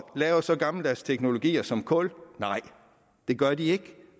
lave så gammeldags teknologier som kulkraft nej det gør de ikke